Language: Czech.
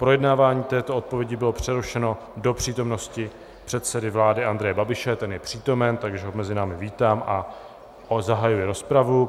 Projednávání této odpovědi bylo přerušeno do přítomnosti předsedy vlády Andreje Babiše, ten je přítomen, takže ho mezi námi vítám a zahajuji rozpravu.